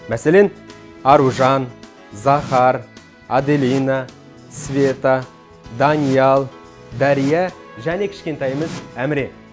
мәселен аружан захар аделина света даниал дәрия және кішкентайымыз әміре